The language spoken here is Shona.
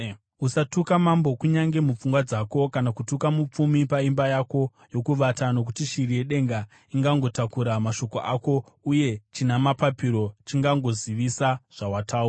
Usatuka mambo kunyange mupfungwa dzako, kana kutuka mupfumi paimba yako yokuvata, nokuti shiri yedenga ingangotakura mashoko ako, uye china mapapiro chingangozivisa zvawataura.